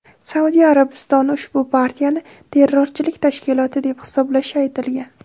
Saudiya Arabistoni ushbu partiyani terrorchilik tashkiloti deb hisoblashi aytilgan.